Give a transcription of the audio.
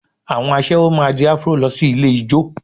Àwọn aṣẹ́wó máa di Afro lọ sí ilé ijó